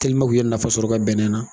K'u ye nafasɔrɔ u ka bɛnɛn na.